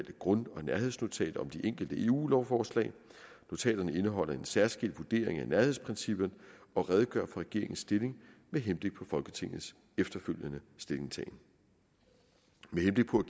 grund og nærhedsnotater om de enkelte eu lovforslag notaterne indeholder en særskilt vurdering af nærhedsprincipperne og redegør for regeringens stilling med henblik på folketingets efterfølgende stillingtagen med henblik på